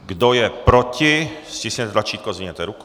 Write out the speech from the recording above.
Kdo je proti, stiskněte tlačítko, zdvihněte ruku.